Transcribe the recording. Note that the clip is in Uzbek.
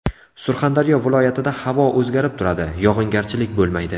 Surxondaryo viloyatida havo o‘zgarib turadi, yog‘ingarchilik bo‘lmaydi.